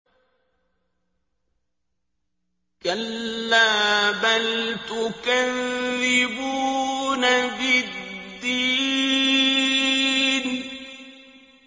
كَلَّا بَلْ تُكَذِّبُونَ بِالدِّينِ